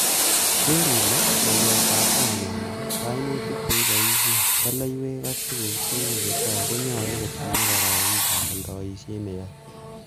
Geer ile, ngolyotab kainengung, kainutik che iboishen ,soleiywek ak tuguk tugul chetogu konyolu kotinye kororondab oldoisiet neyoe.